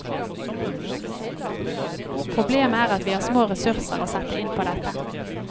Problemet er at vi har små ressurser å sette inn på dette.